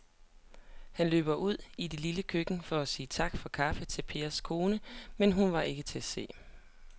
Han løb ud i det lille køkken for at sige tak for kaffe til Pers kone, men hun var ikke til at se.